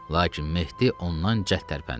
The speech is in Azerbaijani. Lakin Mehdi ondan cəld tərpəndi.